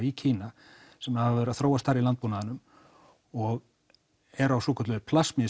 í Kína sem hafa verið að þróast þar í landbúnaðinum og eru á svokölluðu